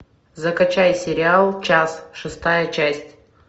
закачай сериал час шестая часть